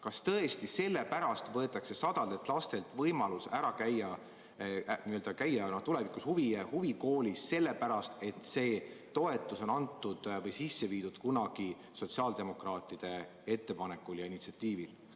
Kas tõesti sellepärast võetakse sadadelt lastelt võimalus käia tulevikus huvikoolis, et see toetus on antud või sisse viidud kunagi sotsiaaldemokraatide ettepanekul ja initsiatiivil.